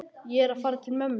Ég er að fara til mömmu.